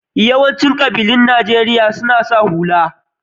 Yawancin ƙabilun Najeriya suna sa hula.